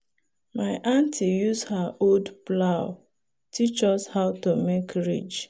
my auntie use her old plow teach us how to make ridge.